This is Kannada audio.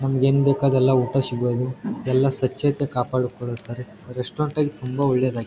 ನಮ್ಮಗೇನ್ ಬೇಕಾದೆಲ್ಲಾ ಊಟ ಸಿಗೋದು ಎಲ್ಲಾ ಸ್ವಚ್ಛತೆ ಕಾಪಾಡಿಕೊಳ್ಳುತ್ತಾರೆ ರೆಸ್ಟೋರೆಂಟ್ ತುಂಬಾ ಒಳ್ಳೇದಾಗಿದೆ .